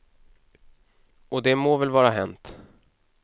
Och det må väl vara hänt.